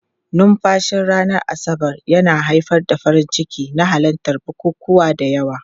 Numfashin ranar Asabar yana haifar da farin ciki na halartar bukukuwa da yawa.